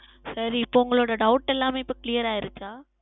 சரி இப்பொழுது உங்களுடைய Doubt எல்லாமே இப்பொழுது Clear ஆகியதா